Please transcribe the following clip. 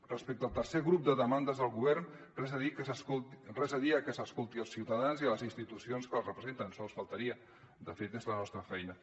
respecte al tercer grup de demandes al govern res a dir a que s’escolti els ciutadans i les institucions que els representen sols faltaria de fet és la nostra feina